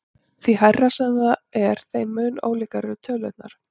Því hærra sem það er þeim mun ólíkari eru tölurnar.